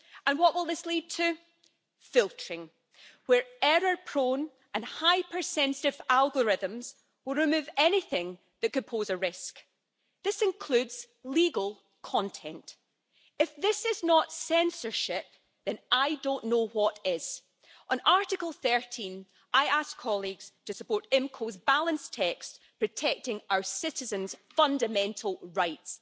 What will this lead to? Filtering, where error-prone and hypersensitive algorithms will remove anything that could pose a risk. This includes legal content. If this is not censorship then I don't know what is. On Article 13 I ask colleagues to support IMCO's balanced text protecting our citizens' fundamental rights.